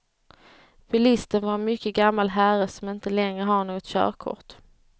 Bilisten var en mycket gammal herre som inte längre har något körkort.